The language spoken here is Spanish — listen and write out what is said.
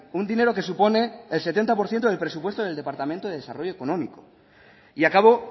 un dinero que supone el setenta por ciento del presupuesto del departamento de desarrollo económico y acabo